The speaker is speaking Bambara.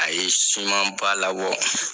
A ye sumanba labɔ